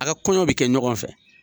A' ka kɔɲɔw bɛ kɛ ɲɔgɔn fɛ.